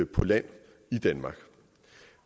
på land i danmark